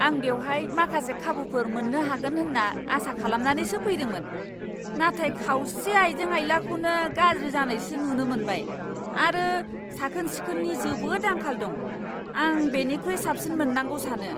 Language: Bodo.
आं बेवहाय माखासे खाबुफोर मोन्नो हागोन होन्ना आसा खालामनानैसो फैदोंमोन, नाथाय खावसे आइजें आइलाखौनो गाज्रि जानायसो नुनो मोनबाय, आरो साखोन सिखोननि जोबोद आंखाल दं। आं बेनिख्रुइ साबसिन मोननांगौ सानो!